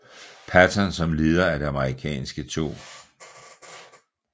Patton som leder af det amerikanske 2